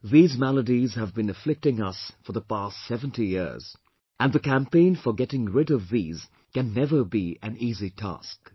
These maladies have been afflicting us for the past 70 years and the campaign for getting rid of these can never be an easy task